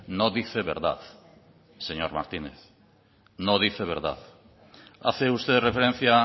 no dice verdad señor martínez no dice verdad hace usted referencia